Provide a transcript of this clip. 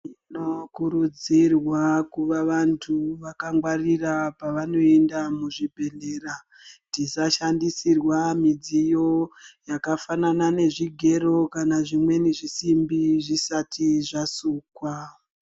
Tino kurudzirwa kuva vantu vakangwaira pavanoenda muzvibhehlera. Tisa shandisirwa midziyo yakafanana nezvigero kana zvimweni zvisimbi zvisati zvasukwa.